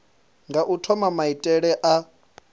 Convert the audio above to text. nga u thoma maitele a